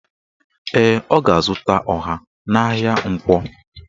Ee, o ga-azụta ọha n'ahịa Nkwọ